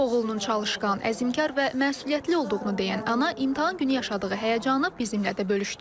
Oğlunun çalışqan, əzmkər və məsuliyyətli olduğunu deyən ana imtahan günü yaşadığı həyəcanı bizimlə də bölüşdü.